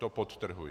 To podtrhuji.